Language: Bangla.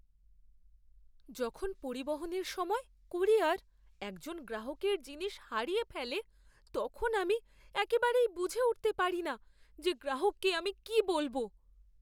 যখন পরিবহনের সময় ক্যুরিয়র একজন গ্রাহকের জিনিস হারিয়ে ফেলে, তখন আমি একেবারেই বুঝে উঠতে পারি না যে গ্রাহককে আমি কী বলব।